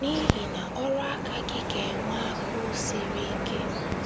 N’ihi na ọrụ aka gị ga - enwe agụụ sri ike. ”